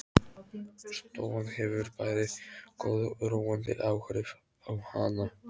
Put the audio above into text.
Stofan hefur bæði góð og róandi áhrif á hana.